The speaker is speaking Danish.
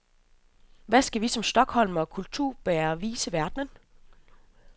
Hvad skal vi som stockholmere og kulturbærere vise verden?